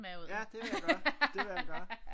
Ja det vil jeg gøre det vil jeg gøre